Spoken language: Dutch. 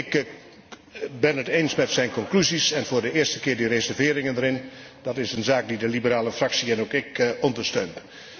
Ik ben het eens met zijn conclusies en voor de eerste keer met de reserveringen erin. Dat is een zaak die de Liberale Fractie en ook ik ondersteunen.